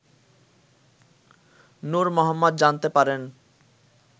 নূর মোহাম্মদ জানতে পারেন